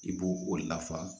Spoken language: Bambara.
I b'o o lafa